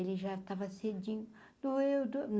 Ele já tava cedinho. doeu